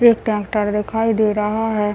एक ट्रैक्टर दिखाई दे रहा है।